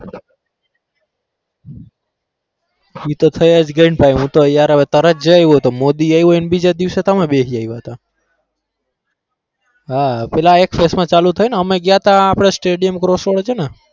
ઈ તો થઇ જ ગઈને ભાઈ હું તો યાર હવે તરત જઈ આયવો તો મોદી આયવો ઇન બીજા દિવસે તો અમે બને જઈ આયવા હતા હા પેલા એક phase માં ચાલુ થઇને? અમે ગયા હતા stadium cross road છે ને?